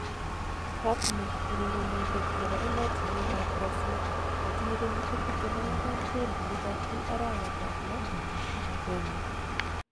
Fabhno urerenidet nebo emotinwek kap Brazil netinye kenyishek 24 kwendi Liverpool arawetab lo 1.